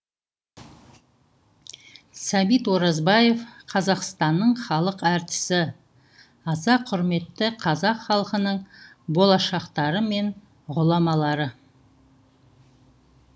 сәбит оразбаев қазақстанның халық әртісі аса құрметті қазақ халқының болашақтары мен ғұламалары